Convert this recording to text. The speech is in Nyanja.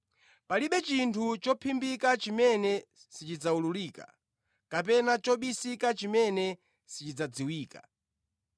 Palibe chinthu chophimbika chimene sichidzawululika, kapena chobisika chimene sichidzadziwika.